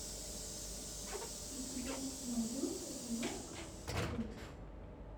у тебя найдется киношка скин